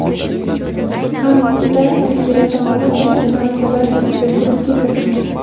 hamda tashkilot tomonidan Prezident maktablari "super guruh" ga kiritilgan.